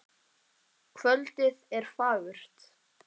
Kvöldið er fagurt.